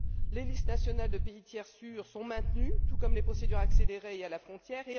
Les listes nationales de pays tiers sûrs sont maintenues tout comme les procédures accélérées et à la frontière.